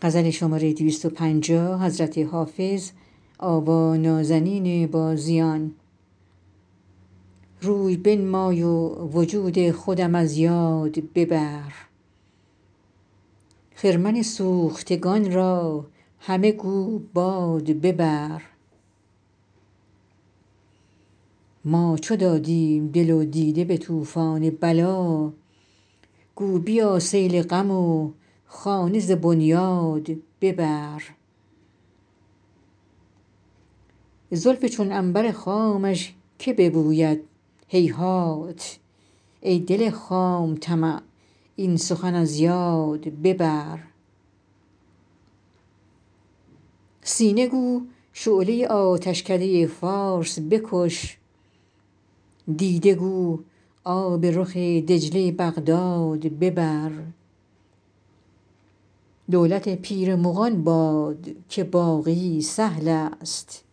روی بنمای و وجود خودم از یاد ببر خرمن سوختگان را همه گو باد ببر ما چو دادیم دل و دیده به طوفان بلا گو بیا سیل غم و خانه ز بنیاد ببر زلف چون عنبر خامش که ببوید هیهات ای دل خام طمع این سخن از یاد ببر سینه گو شعله آتشکده فارس بکش دیده گو آب رخ دجله بغداد ببر دولت پیر مغان باد که باقی سهل است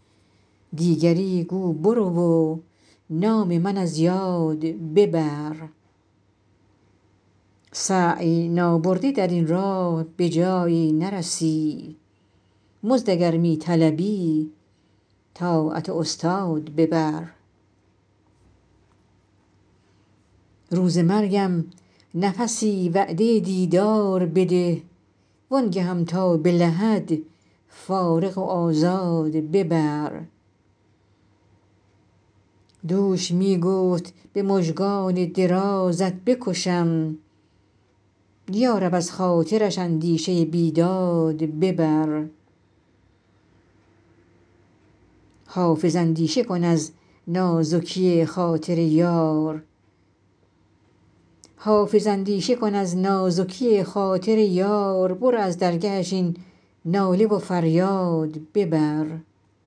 دیگری گو برو و نام من از یاد ببر سعی نابرده در این راه به جایی نرسی مزد اگر می طلبی طاعت استاد ببر روز مرگم نفسی وعده دیدار بده وآن گهم تا به لحد فارغ و آزاد ببر دوش می گفت به مژگان درازت بکشم یا رب از خاطرش اندیشه بیداد ببر حافظ اندیشه کن از نازکی خاطر یار برو از درگهش این ناله و فریاد ببر